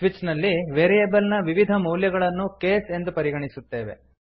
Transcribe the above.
switch ನಲ್ಲಿ variable ನ ವಿವಿಧ ಮೌಲ್ಯಗಳನ್ನು ಕೇಸ್ ಎಂದು ಪರಿಗಣಿಸುತ್ತೇವೆ